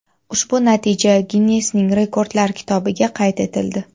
Ushbu natija Ginnesning Rekordlar kitobiga qayd etildi.